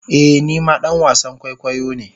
Ee ni ma dan wasan kwaikwayo ne.